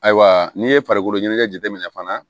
Ayiwa n'i ye farikolo ɲɛnajɛ jateminɛ fana